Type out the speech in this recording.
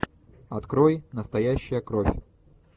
открой настоящая кровь